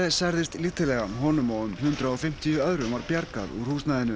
særðist lítillega honum og um hundrað og fimmtíu öðrum var bjargað úr húsnæðinu